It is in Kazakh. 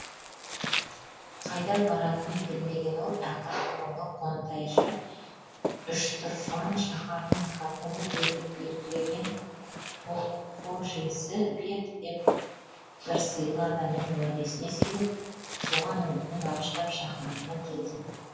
қайда баратынын білмеген ол ақыры бұрынғы қонтайжы үштұрфан шаһарының хәкімі етіп белгілеген хожесі бек деген бір сыйлы адамның уәдесіне сеніп соған үмітін бағыштап шаһарына келді